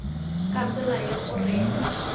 ka tsela ye o reng